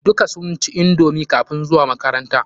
Duka sun ci indomi kafin zuwa makaranta.